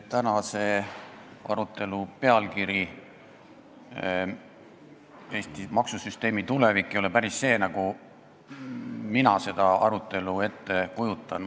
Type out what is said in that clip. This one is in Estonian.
Tänase arutelu pealkiri "Eesti maksusüsteemi tulevik" ei väljenda päriselt seda, milline see arutelu minu ettekujutuses olema peaks.